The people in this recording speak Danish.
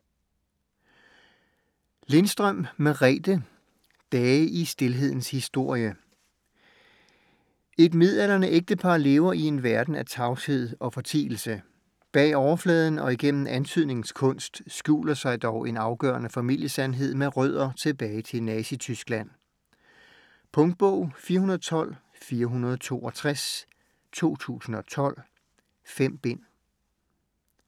Lindstrøm, Merethe: Dage i stilhedens historie Et midaldrende ægtepar lever i en verden af tavshed og fortielse. Bag overfladen og igennem antydningens kunst skjuler sig dog en afgørende familiesandhed med rødder tilbage til Nazityskland. Punktbog 412462 2012. 5 bind.